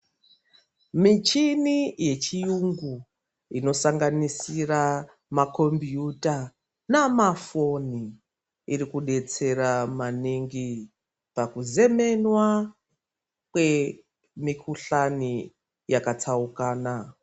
Michini yechiyungu inosanganisira ma kompiyuta namafoni irikudetsera maningi pakuzemenwa kwemikuhlani yakatsaukana.